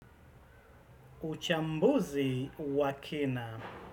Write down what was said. Uchambuzi wa kina.